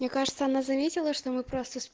мне кажется она заметила что мы просто